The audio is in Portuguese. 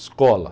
Escola.